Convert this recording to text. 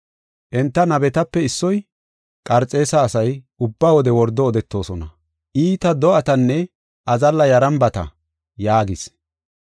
Enta nabetape issoy, “Qarxeesa asay ubba wode wordo odetoosona; iita do7atanne azalla yarambata” yaagis.